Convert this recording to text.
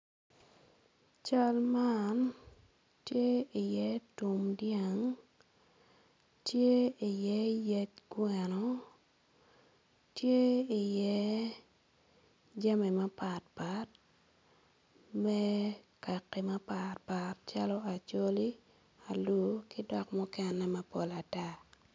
Cal man tye iye tum dyang tye iye yec kweno tye iye jami mapatpat me kaki mapatpat calo acholi alur ki dok mukene mapol ata